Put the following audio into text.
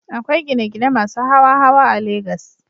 Akwai gine-gine masu hawa-hawa a Legas.